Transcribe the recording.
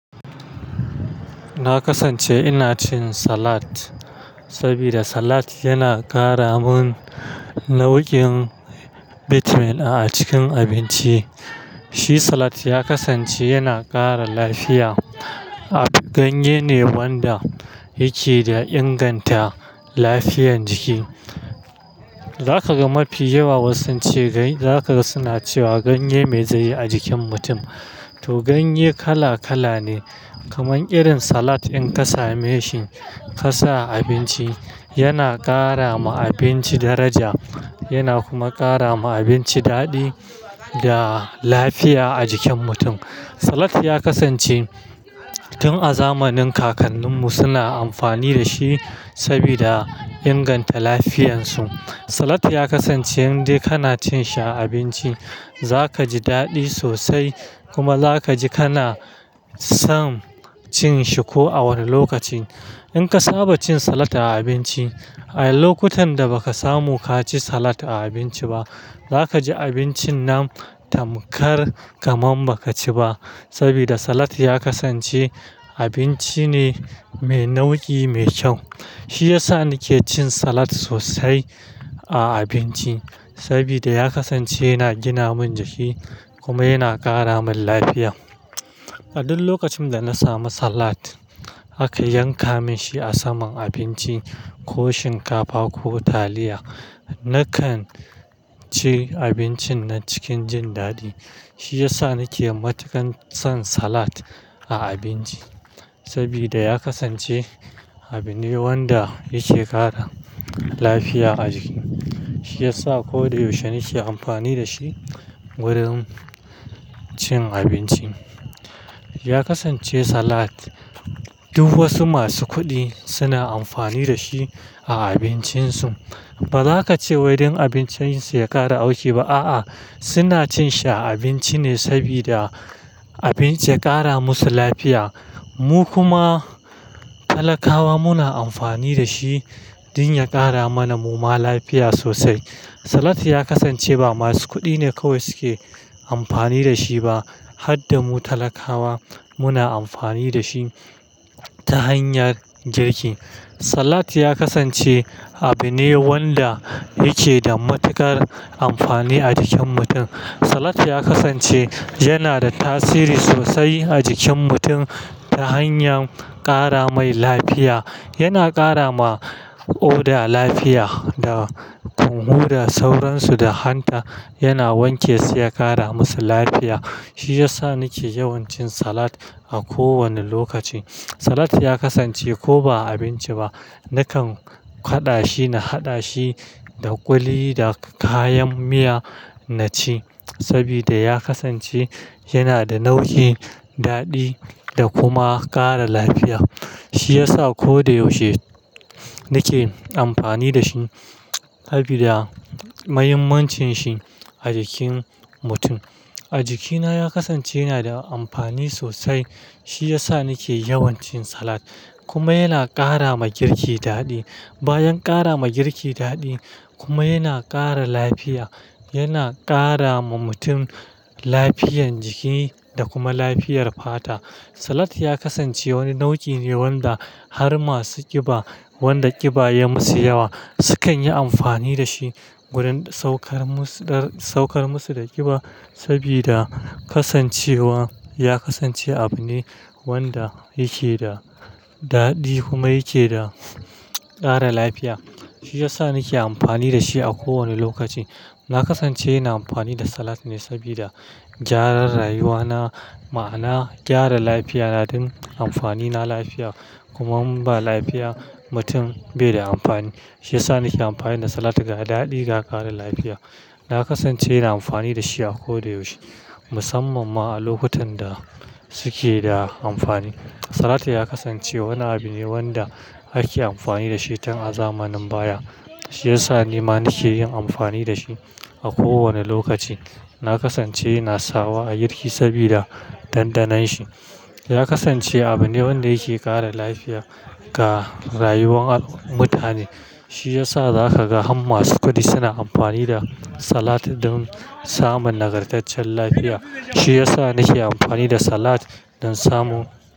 Na kasance ina cin salat, sabida salat yana kara mun nau'ukan bitamin a cikin abinci. Shi salat ya kasance yana kara lafiya. Ganye ne wanda yake da inganta lafiyan jiki. Zaka ga mafi yawa wasu sun ce, za ka ga suna cewa ganye mai zaiyi a jikin mutum. To, ganye kala-kala ne, kaman irin salat in ka same shi ka sa a abinci yana kara ma abinci daraja yana kuma kara ma abinci daɗi da lafiya a jikin mutum. Salat ya kasance tun a zamanin kakanninmu suna amfani da shi sabida inganta lafiyarsu. Salat ya kasance in dai kana cin shi a abinci, za ka ji daɗi sosai kuma za ka ji kana son cin shi ko a wane lokaci. In ka saba cin salat a abinci, a lokutan da ba ka samu ka ci salat a abinci ba, za ka ji abincin nan tamkar kaman ba ka ci ba. Sabida salat ya kasance abinci ne mai nau'i, mai kyau. Shi ya sa nake cin salat sosai a abinci sabida ya kasance yana gina min jiki kuma yana ƙara min lafiya. A duk lokacin da na samu salat aka yanka min shi a saman abinci ko shinkafa ko taliya, nakan ci abincin nan cikin jin daɗi. Shi ya sa nake matukar son salat a abinci sabida ya kasance abune wanda yake kara lafiya a jiki. Shi ya sa ko da yaushe nake amfani da shi wurin cin abinci. Ya kasance salat duk wasu masu kuɗi suna amfani da shi a abincin su. Ba za ka ce wai don abincin su ya ƙara auki ba, a'a. Suna cin shi a abinci ne sabida abinci ya ƙara musu lafiya. Mu kuma talakawa muna amfani da shi don ya ƙara mana mu ma lafiya sosai. Salat ya kasance ba masu kuɗi ne kawai suke amfani da shi ba, har da mu talakawa muna amfani da shi ta hanyar girki. Salat ya kasance abu ne wanda yake da matuƙar amfani a jikin mutum. Salat ya kasance yana da tasiri sosai a jikin mutum ta hanyar ƙara mai lafiya. Yana kara ma ƙoda lafiya da hunhu da sauransu da hanta. Yana wanke su ya ƙara musu lafiya. Shi ya sa nake yawan cin salat a kowane lokaci. Salat ya kasance ko ba'a abinci ba, nakan haɗa shi na haɗa shi da ƙuli da kayan miya na ci sabida ya kasance yana da nau'i, daɗi da kuma kara lafiya. Shi ya sa koyaushe nake amfani da shi sabida muhimmancin shi a jikin mutum. A jikina ya kasance yana da amfani sosai. Shi ya sa nake yawan cin salat kuma yana ƙara ma girki daɗi. Bayan ƙara ma girki daɗi kuma yana ƙara lafiya. Yana ƙara ma mutum lafiyan jiki da kuma lafiyar fata. Salat ya kasance wani nau'i ne wanda har masu ƙiba, wanda ƙiba ya yi musu yawa sukan yi amfani da shi wurin saukar musu, saukar musu daga ƙiba sabida kasancewa ya kasance abu ne wanda yake da daɗi kuma yake da ƙara lafiya. Shi ya sa nake amfani da shi a kowane lokaci. Na kasance ina amfani da salat ne sabida gyaran rayuwa na, ma'ana gyara lafiya na don amfani na lafiya. Kuma in ba lafiya mutum bai da amfani. Shi ya sa nake amfani da salat ga daɗi ga kara lafiya. Na kasance ina amfani da shi a koyaushe musamman ma a lokutan da suke da amfani. Salat ya kasance wani abu ne wanda ake amfani da shi tun a zamanin baya. Shi ya sa ni ma nake yin amfani da shi a kowane lokaci. Na kasance ina sawa a girki sabida ɗanɗanon shi. Ya kasance abu ne wanda yake ƙara lafiya ga rayuwar mutane. Shi ya sa za ka ga har masu kuɗi suna amfani da salat don samun nagartaccen lafiya. Shi ya sa nake amfani da salat don samu.